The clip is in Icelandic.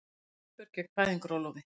Aðför gegn fæðingarorlofi